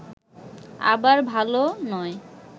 আবার ভাল নয়